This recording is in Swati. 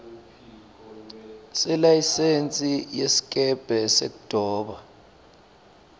selayisensi yesikebhe sekudoba